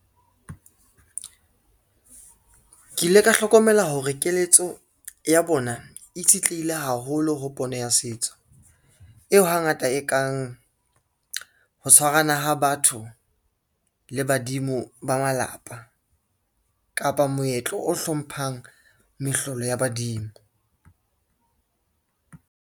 Ke ile ka hlokomela hore keletso ya bona itshetlehile haholo ho pono ya setso, eo hangata e kang ho tshwarana ha batho le badimo ba malapa, kapa moetlo o hlomphang mehlolo ya badimo.